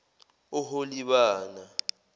oholibana